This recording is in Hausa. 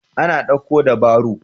Ana daƙo da baro.